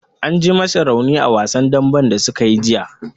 An ji masa raunin a wasan dambe da sukayi jiya.